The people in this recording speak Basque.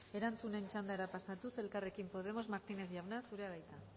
erantzunen txandara pasatuz elkarrekin podemos martínez jauna zurea da hitza